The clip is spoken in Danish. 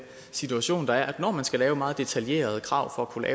situation der er altså at når man skal lave meget detaljerede krav for at kunne